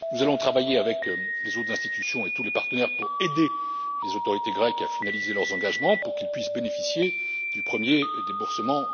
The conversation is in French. Nous allons travailler avec les autres institutions et tous les partenaires pour aider les autorités grecques à finaliser leurs engagements, pour qu'ils puissent bénéficier sous peu du premier déboursement.